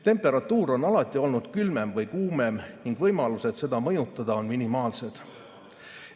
Temperatuur on alati olnud külmem või kuumem ning võimalused seda mõjutada on minimaalsed.